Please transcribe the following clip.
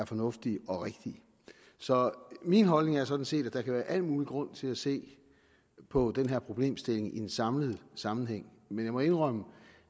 fornuftige og rigtige så min holdning er sådan set at der kan være al mulig grund til at se på den her problemstilling i en samlet sammenhæng men jeg må indrømme